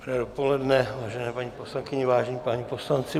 Dobré dopoledne, vážené paní poslankyně, vážení páni poslanci.